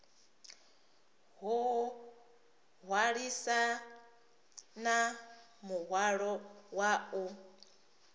o hwalisana muhwalo wa u